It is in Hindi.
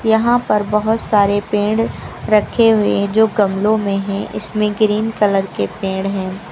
यहां पर बोहोत सारे पेड़ रखे हुए हैं जो कि गमलों में हैं। इसमें ग्रीन कलर के पेड़ हैं।